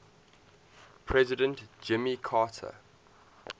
president jimmy carter